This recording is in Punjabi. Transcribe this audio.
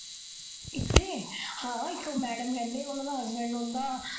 ਇੱਥੇ ਹਾਂ ਇੱਕ madam ਰਹਿੰਦੀ ਹੈ, ਉਹਨਾ ਦਾ husband ਰਹਿੰਦਾ।